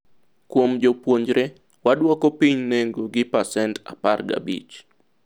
kuom jopuonjre, wadwoko piny nengo gi pacent apar gi abich